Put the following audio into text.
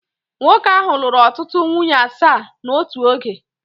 Nwoke ahụ lụrụ ọtụtụ nwunye asaa n'otu oge